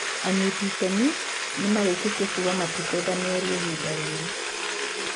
Anyiti ĩtemi nimerikitie kuuga matikwenda mĩario ihinda riri